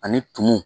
Ani tumu